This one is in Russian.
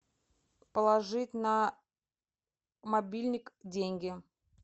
положить на мобильник деньги